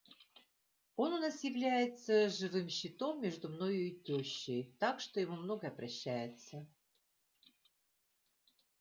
он у нас является живым щитом между мною и тёщей так что ему многое прощается